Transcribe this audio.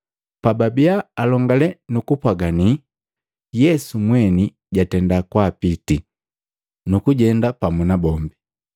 Pababia alongalane nuku pwaganii, Yesu mweni jatenda kwaapitii, nukujenda pamu nabombi.